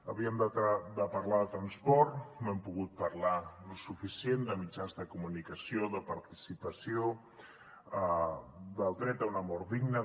havíem de parlar de transport no n’hem pogut parlar prou de mitjans de comunicació de participació del dret a una mort digna